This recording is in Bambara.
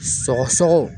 Sɔgɔsɔgɔ